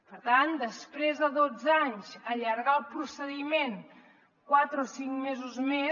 per tant després de dotze anys allargar el procediment quatre o cinc mesos més